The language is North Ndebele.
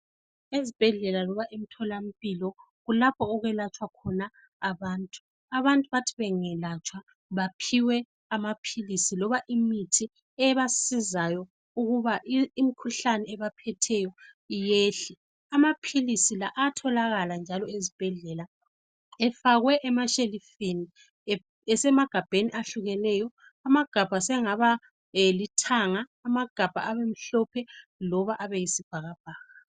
Ezibhedlela loba emtholampilo kulapho okwelatshwa khona abantu. Abantu bathi bengelatshwa baphiwe amaphilisi loba imithi ebasizayo ukuba imikhuhlane ebaphetheyo iyehle. Amaphilisi la ayatholakala njalo ezibhedlela efakwe emashelufini esemagabheni ehlukeneyo. Amagabha sengaba lithanga, abe mhlophe loba abe yisibhakabhaka.